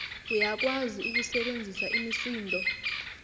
uyakwazi ukusebenzisa imisindo